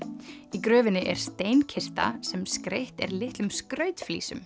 í gröfinni er sem skreytt er litlum